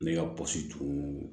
Ne ka pɔsi tun